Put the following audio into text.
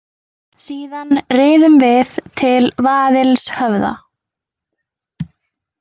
Síðan riðum við til Vaðilshöfða.